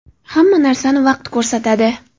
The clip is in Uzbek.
Hamma narsani vaqt ko‘rsatadi.